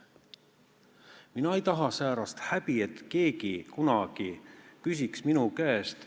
Mina ei taha säärast häbi, et keegi kunagi küsiks minu käest ...